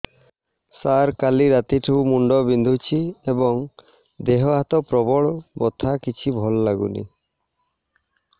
ସାର କାଲି ରାତିଠୁ ମୁଣ୍ଡ ବିନ୍ଧୁଛି ଏବଂ ଦେହ ହାତ ପ୍ରବଳ ବଥା କିଛି ଭଲ ଲାଗୁନି